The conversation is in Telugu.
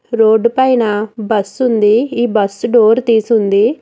రోడ్ పైన బస్సు ఉంది ఈ బస్సు డూయిర్ తీసిఉంది.